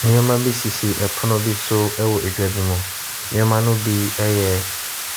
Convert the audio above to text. Nneɛma bi sisi pono bi so wɔ dwa ne mu. Nneɛma ne bi yɛ